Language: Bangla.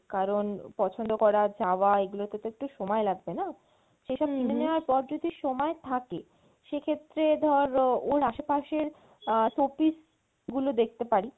কারন পছন্দ করা যাওয়া এগুলোতে তো একটু সময় লাগবে না? সেসব কিনে নেওয়ার পর যদি সময় থাকে সেক্ষেত্রে ধর ওর আশেপাশের আহ showpiece গুলো দেখতে পারি